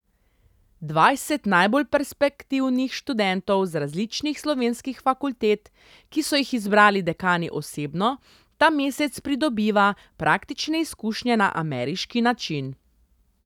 Dvajset najbolj perspektivnih študentov z različnih slovenskih fakultet, ki so jih izbrali dekani osebno, ta mesec pridobiva praktične izkušnje na ameriški način.